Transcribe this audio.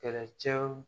Kɛlɛcɛw